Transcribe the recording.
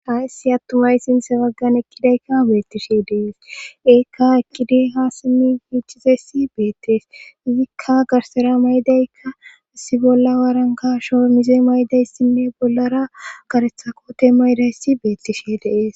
Hats issi attumay sinse baggan eqkidaykka beettishe dees eekka ekidey ha simi fiichizessi beettees izikka garsera maydaykka assi bolla waarankasho mize maydayssinne bollara garetha kote ma ydayssi beettishe de'ees